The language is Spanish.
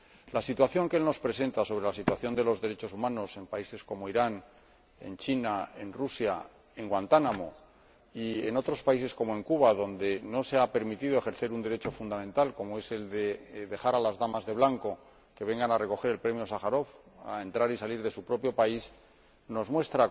La situación que el informe nos presenta sobre la situación de los derechos humanos en países como Irán, China o Rusia, en Guantánamo y en otros países, como Cuba, donde no se ha permitido ejercer un derecho fundamental, como es el de dejar a las Damas de Blanco que vengan a recoger el premio Sájarov, a entrar y salir de su propio país, o en